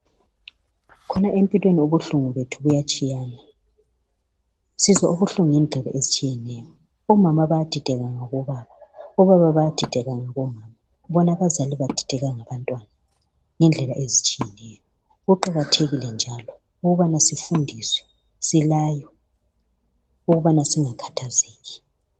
Khona empilweni ubuhlungu bethu buyatshiyana , sizwa ubuhlungu ngezindlela ezitshiyeneyo. Omama bayadideka ngabobaba, obaba bayadideka ngabomama, bona abazali bedideka ngabantwana ngendlela ezitshiyeneyo. Kuqakathekile njalo ukuthi sifundiswe, silaywe ukuthi singakhathazeki.